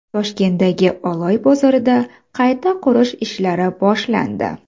Toshkentdagi Oloy bozorida qayta qurish ishlari boshlandi .